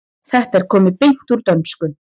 Þetta er komið beint úr dönsku.